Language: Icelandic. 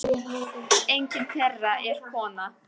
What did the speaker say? Enginn þeirra er kona.